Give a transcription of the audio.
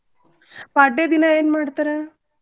ಪಾಡ್ಯಾ ದಿನಾ ಏನ್ ಮಾಡ್ತಾರ?